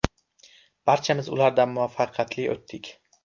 Barchamiz ulardan muvaffaqiyatli o‘tdik.